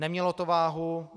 Nemělo to váhu.